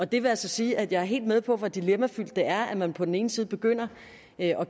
det vil altså sige at jeg er helt med på hvor dilemmafyldt det er at man på den ene side begynder at